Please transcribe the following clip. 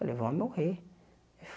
Falei, vou morrer.